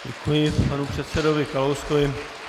Děkuji panu předsedovi Kalouskovi.